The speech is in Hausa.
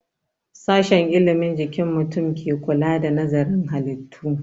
Sashen ilimin jikin mutum ke kula da nazarin halittu